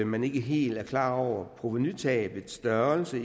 man ikke helt er klar over provenutabets størrelse